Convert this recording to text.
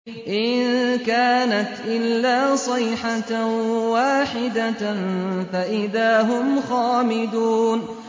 إِن كَانَتْ إِلَّا صَيْحَةً وَاحِدَةً فَإِذَا هُمْ خَامِدُونَ